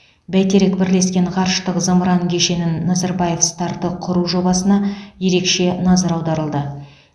бәйтерек бірлескен ғарыштық зымыран кешенін назарбаев старты құру жобасына ерекше назар аударылды